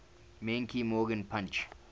menke morgan punch